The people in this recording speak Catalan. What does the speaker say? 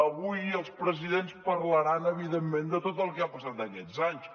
avui els presidents parlaran evidentment de tot el que ha passat aquests anys